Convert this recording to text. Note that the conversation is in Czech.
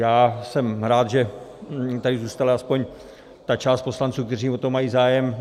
Já jsem rád, že tady zůstala aspoň ta část poslanců, kteří o to mají zájem.